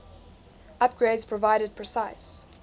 upgrades provided precise